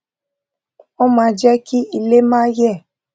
wón máa jé kí ilè máa yè